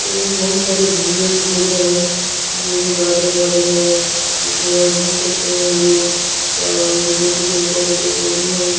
यहां बहुत सारी घूमने की जगह है जिनमें गार्डन वार्डन है जिसमें यहां घूम सकते हैं लोग और उधर बहुत सारे पेड़ पौधे हैं।